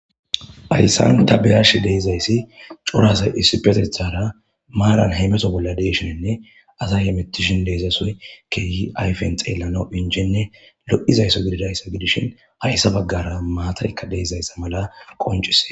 ayssan ta beyash deezayssi corasay issipetethara maaran heymeto bolla deshinenne asay yemettishin deezasoy keeyi ayfen xeellano injenne lo7izaysso gididayssa gidishin hayssa baggara maataykka deezayssa mala qoncise